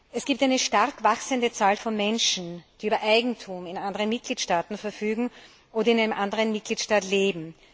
Es gibt eine stark wachsende Zahl von Menschen, die über Eigentum in anderen Mitgliedstaaten verfügen oder in einem anderen Mitgliedstaat leben.